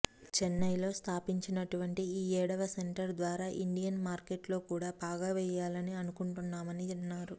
చెన్నైలో స్దాపించినటువంటి ఈఏడవ సెంటర్ ద్వారా ఇండియన్ మార్కెట్ లోకూడా పాగా వేయాలని అనుకుంటున్నామని అన్నారు